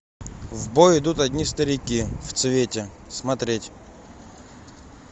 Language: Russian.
в бой идут одни старики в цвете смотреть